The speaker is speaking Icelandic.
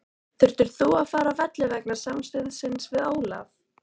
Þurftir þú að fara af velli vegna samstuðsins við Ólaf?